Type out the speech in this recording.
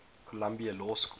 columbia law school